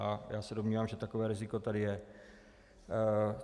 A já se domnívám, že takové riziko tady je.